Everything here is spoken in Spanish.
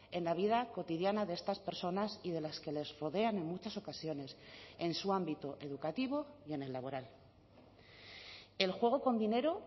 en la vida cotidiana de estas personas y de las que les rodean en muchas ocasiones en su ámbito educativo y en el laboral el juego con dinero